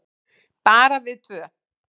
Bara við tvö.